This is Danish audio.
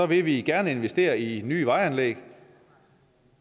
vil vi gerne investere i nye vejanlæg